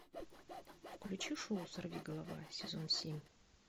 включи шоу сорвиголова сезон семь